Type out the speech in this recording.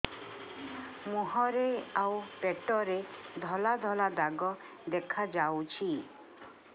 ମୁହଁରେ ଆଉ ପେଟରେ ଧଳା ଧଳା ଦାଗ ଦେଖାଯାଉଛି